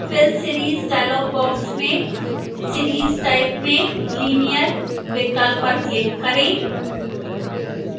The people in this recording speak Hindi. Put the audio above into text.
fill series dialog box में series type में linear विकल्प पर click करें